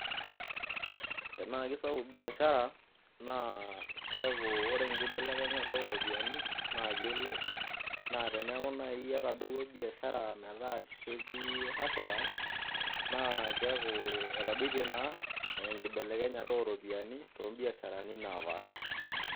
Tenaa kesapuk biashara keeku ore enkibelekenyata ooropiyiani naa kiilep naa teneeku naai etadouo biashara metaa ketii hasara naa keeku naa etadoitie enkibelekenyata ooropiyiani toombiasharani naapaasha.